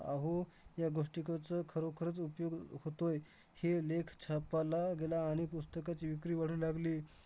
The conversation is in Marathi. अहो या गोष्टी खरोखरच उपयोग अह होतोय. हे लेख छापाला गेला आणि पुस्तकाची विक्री वाढू लागली.